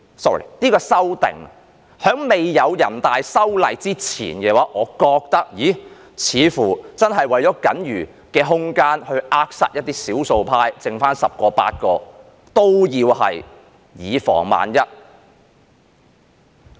在未有人大修例之前，我認為這次修訂似乎真的為了僅餘的空間而去扼殺一些少數派，即使是餘下十個八個，都要以防萬一。